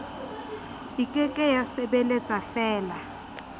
e ke ke ya sebeletsafela